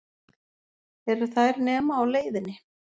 Eru þær nema á leiðinni?